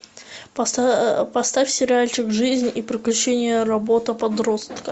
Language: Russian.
поставь сериальчик жизнь и приключения робота подростка